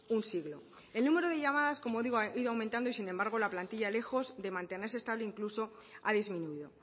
un siglo el número de llamadas como digo ha ido aumentado y sin embargo la plantilla lejos de mantenerse estable incluso ha disminuido